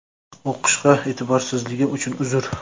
O‘qishiga e’tiborsizligim uchun uzr.